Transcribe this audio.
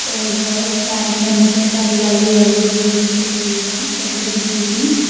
-- اورا سائیڈ میں مجھے ساری یلو یلو بیلڈنگس دکھ رہی ہیں۔ بڑی بڑی بیلڈنگس